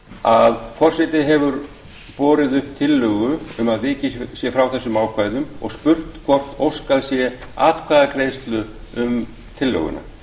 að forseti hefur borið upp tillögu um að vikið sé frá þessum ákvæðum og spurt hvort óskað sé atkvæðagreiðslu um tillöguna